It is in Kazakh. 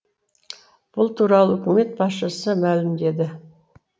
бұл туралы үкімет басшысы мәлімдеді